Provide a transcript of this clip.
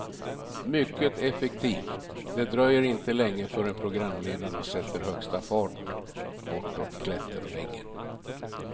Mycket effektivt, det dröjer inte länge förrän programledarna sätter högsta fart bortåt klätterväggen.